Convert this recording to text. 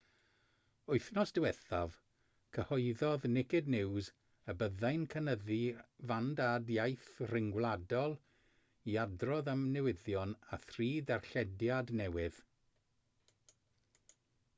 wythnos diwethaf cyhoeddodd naked news y byddai'n cynyddu'i fandad iaith rhyngwladol i adrodd am newyddion â thri darllediad newydd